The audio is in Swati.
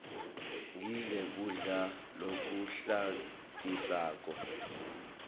ngidle kudla lokuhlantisako